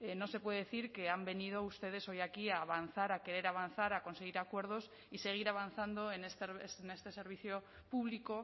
no se puede decir que han venido ustedes hoy aquí a avanzar a querer avanzar a conseguir acuerdos y seguir avanzando en este servicio público